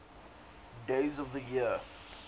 days of the year